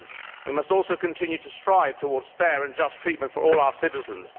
We must also continue to strive towards fair and just treatment for all our citizens.